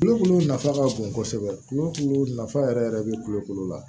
Kulokolo nafa ka bon kɔsɛbɛ kulokulu nafa yɛrɛ yɛrɛ be kulokolo la